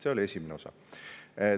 See oli esimene osa.